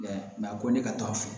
a ko ne ka to a fɛ